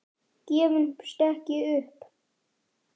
Gefumst ekki upp.